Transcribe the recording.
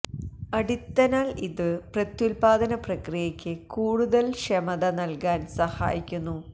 അടിത്തനാൽ ഇത് പ്രത്യുത്പാദന പ്രക്രിയയ്ക്ക് കൂടുതല് ക്ഷമത നല്കാന് സാഹയിക്കുന്നു